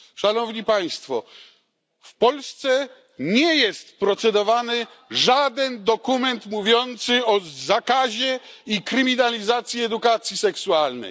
Szanowni państwo, w Polsce nie jest procedowany żaden dokument mówiący o zakazie i penalizacji edukacji seksualnej.